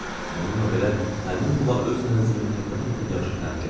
Bununla belə, həmin pula öz mənzilimi həddən artıq yaxşı təmir etdirdi.